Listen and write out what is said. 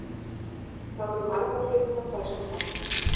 Það voru margar fyndnar færslur þarna.